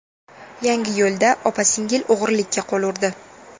Yangiyo‘lda opa-singil o‘g‘rilikka qo‘l urdi.